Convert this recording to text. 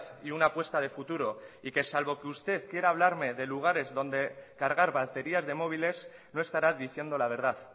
y una apuesta de futuro y que salvo que usted quiera hablarme de lugares donde cargar baterías de móviles no estará diciendo la verdad